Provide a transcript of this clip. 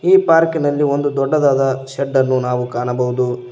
ಈ ಪಾರ್ಕ್ ಇನಲ್ಲಿ ಒಂದು ದೊಡ್ಡದಾದ ಶೆಡ್ ಅನ್ನು ನಾವು ಕಾಣಬಹುದು.